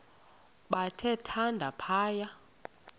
bathe thande phaya